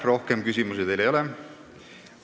Rohkem küsimusi teile ei ole.